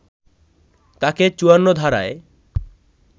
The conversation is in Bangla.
তাকে ৫৪ ধারায়